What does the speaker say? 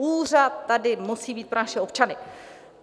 Úřad tady musí být pro naše občany.